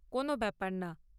কোনও ব্যাপার না।